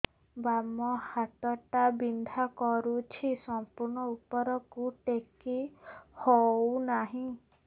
ବାମ ହାତ ଟା ବିନ୍ଧା କରୁଛି ସମ୍ପୂର୍ଣ ଉପରକୁ ଟେକି ହୋଉନାହିଁ